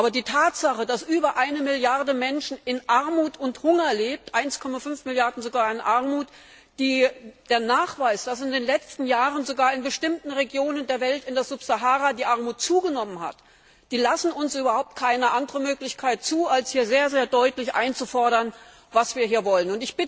Aber die Tatsache, dass über eine Milliarde Menschen in Armut und Hunger lebt 1,5 Milliarden sogar in Armut der Nachweis, dass in den letzten Jahren sogar in bestimmten Regionen der Welt, in der Subsahara, die Armut zugenommen hat, die lassen überhaupt keine andere Möglichkeit zu, als hier sehr deutlich einzufordern, was wir hier wollen.